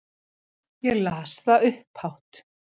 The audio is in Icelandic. Ég las það upphátt.